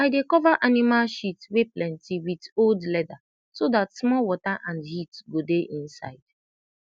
i dey cova animal shit wey plenti with old leda so dat small water and heat go dey inside